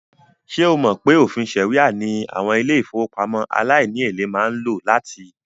Ṣé o mọ̀ pé òfìn ṣàríà ní àwọn ilé-ìfowópamọ́ aláìníèlé máa ń lò láti?